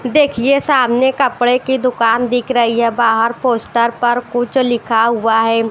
देखिए सामने कपड़े की दुकान दिख रही है बाहर पोस्टर पर कुछ लिखा हुआ है।